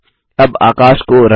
अब आकाश को रंगें